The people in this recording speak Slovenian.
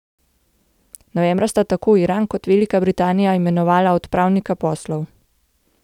Novembra sta tako Iran kot Velika Britanija imenovala odpravnika poslov.